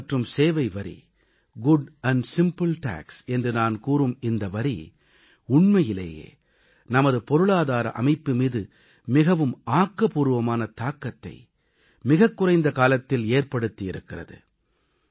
சரக்கு மற்றும் சேவைவரி குட் ஆண்ட் சிம்பிள் டாக்ஸ் என்று நான் கூறும் இந்த வரி உண்மையிலேயே நமது பொருளாதார அமைப்பு மீது மிகவும் ஆக்கபூர்வமான தாக்கத்தை மிகக் குறைந்த காலத்தில் ஏற்படுத்தி இருக்கிறது